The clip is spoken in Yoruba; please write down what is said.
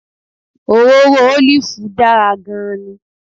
Òróró ólìfù dára gan-an ni